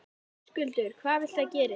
Höskuldur: Hvað viltu að gerist?